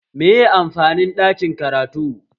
Meye amfanin ɗakin karatu?